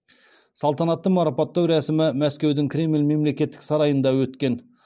салтанатты марапаттау рәсімі мәскеудің кремль мемлекеттік сарайында өткен